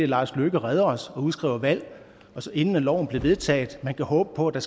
lars løkke redder os og udskriver valg inden loven blev vedtaget man kan håbe på at der